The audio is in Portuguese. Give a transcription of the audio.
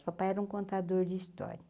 O papai era um contador de história.